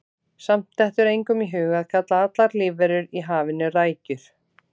Samt dettur engum í hug að kalla allar lífverur í hafinu rækjur.